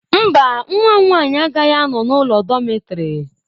Mba, nwa m nwanyị agaghị anọ n'ụlọ dọmetịrị